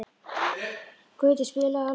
Gautur, spilaðu lag.